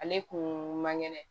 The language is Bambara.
Ale kun man kɛnɛ